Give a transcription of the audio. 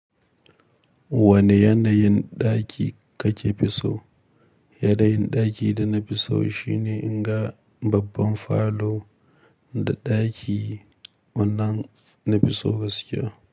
Wane yanayin ɗaki kake fi so? Yanayin dakin da nafi so shine inga babban falo da daki wannan nafi so gaskiya.